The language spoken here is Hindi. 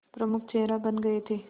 प्रमुख चेहरा बन गए थे